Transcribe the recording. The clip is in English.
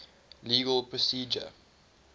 legal procedure